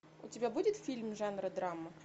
у тебя будет фильм жанра драма